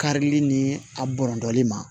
Karili ni a bɔndɔli ma